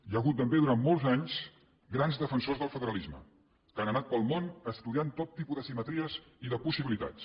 hi ha hagut també durant molts anys grans defensors del federalisme que han anat pel món estudiant tot tipus de simetries i de possibilitats